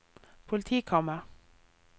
politikammer